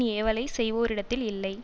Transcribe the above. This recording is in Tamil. ஏவலைச் செய்வோரிடத்தில் இல்லை